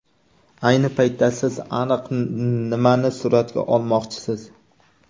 Ayni paytda siz aniq nimani suratga olmoqchisiz?